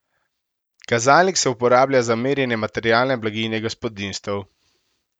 Kazalnik se uporablja za merjenje materialne blaginje gospodinjstev.